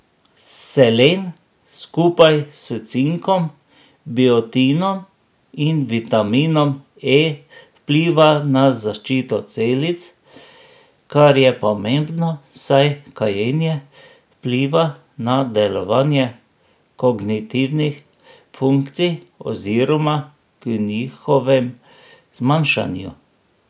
Selen skupaj s cinkom, biotinom in vitaminom E vpliva na zaščito celic, kar je pomembno, saj kajenje vpliva na delovanje kognitivnih funkcij oziroma k njihovem zmanjšanju.